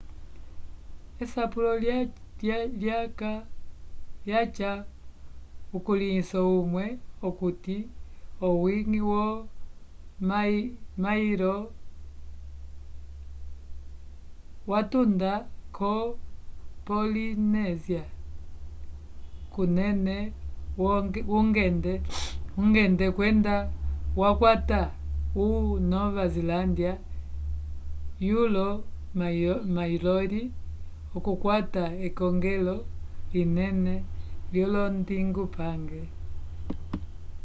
esapulo lyaca ukulĩhiso umwe okuti owi-ngi wo maori watunda k0 polinésia kunene wungende kwenda wakwata o nova zelândia vyolo mariori okukwata ekongelo linene lyolondingupange